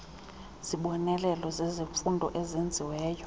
zibonelelo zezemfundo ezenziweyo